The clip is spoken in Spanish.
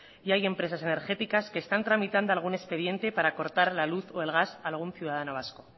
y hay empresas energéticas que están tramitando algún expediente para cortar la luz o el gas a algún ciudadano vasco